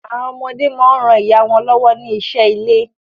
Àwọn ọmọdé món rán ìyá wón lówó ní iṣé ilè.